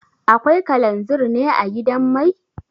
Akwai kalanzir ne a gidan mai?